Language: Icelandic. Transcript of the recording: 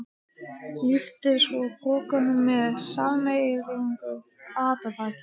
Lyftu svo pokanum með sameiginlegu átaki.